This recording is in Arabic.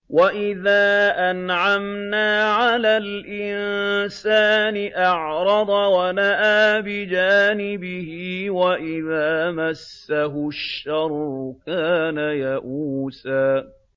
وَإِذَا أَنْعَمْنَا عَلَى الْإِنسَانِ أَعْرَضَ وَنَأَىٰ بِجَانِبِهِ ۖ وَإِذَا مَسَّهُ الشَّرُّ كَانَ يَئُوسًا